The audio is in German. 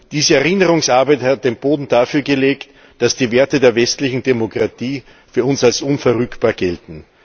Diese Erinnerungsarbeit hat den Boden dafür bereitet, dass die Werte der westlichen Demokratie für uns als unverrückbar gelten.